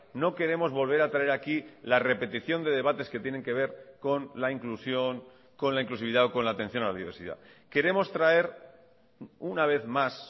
no queremos volver a traer aquí la repetición de debates que tienen que ver con la inclusión con la inclusividad o con la atención a la diversidad queremos traer una vez más